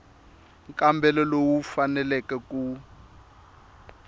nkambelo lowu wu faneleke ku